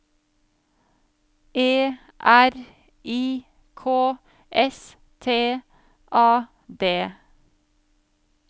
E R I K S T A D